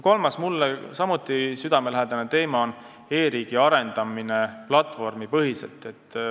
Kolmas samuti mulle südamelähedane teema on e-riigi arendamine platvormipõhiselt.